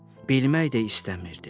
Bilmək də istəmirdim.